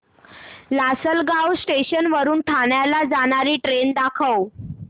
Lasalgaon station वरून ठाण्याला जाणारी ट्रेन दाखव